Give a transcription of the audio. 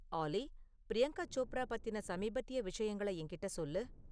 ஆல்லி, பிரியங்கா சோப்ரா பத்தின சமீபத்திய விஷயங்களை என்கிட்ட சொல்லு